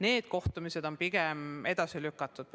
Need kohtumised on praegu pigem edasi lükatud.